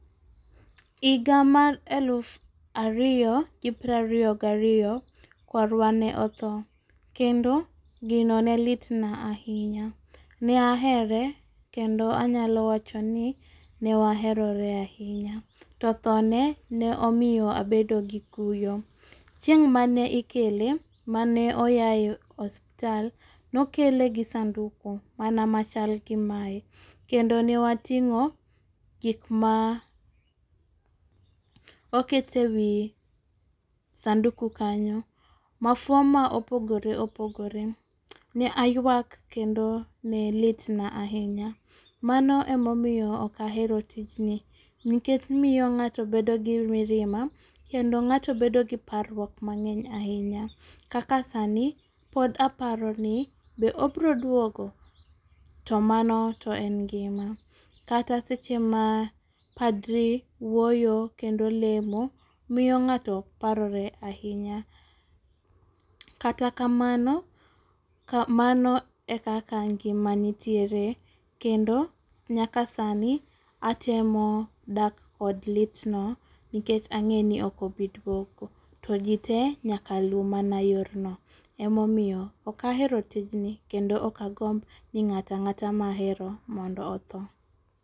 Higa mar alufa riyo gi prariyo gariyo kwarwa ne otho kendo gino ne litna ahinya. Ne ahere kendo anyalo wacho ni ne waherore ahinya. To thone ne omiyo abedo gi kuyo ,chieng mane ikele mane oaye osiptal nokele gi sanduku mana machal gi mae kendo ne watimo gik ma okete wii sanduku kanyo, mafua ma opogore opogore. Ne aywak kendo ne litna ahinya mano emomiyo ok ahero tijni nikech miyo ng'ato bedo gi mirima kendo ng'ato bedo gi parruok mangeny ahinya kaka sani pod aparo ni be obro duogo to mano to en ngima. Kata seche ma padri wuoyo kendo lemo, miyo ng'ato parore ahinya. Kata kamano, mano e kaka ngima nitiere kendo nyaka sani atemo dak kod litno nikech ang'e ni ok obi duogo. To jii te nyaka luw mana yor no . Emomiyo ok ahero tijni kendo ok agomb ni ng'ata ng'ata mahero mondo otho.